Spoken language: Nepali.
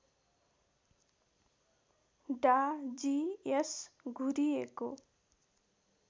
डा जी एस घुरिएको